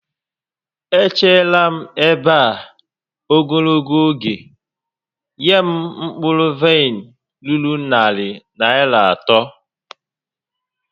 E cheela m ebe a ogologo oge, nye m mkpụrụ vaịn ruru narị Naịra atọ!